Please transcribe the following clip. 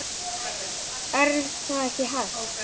En það er hægt.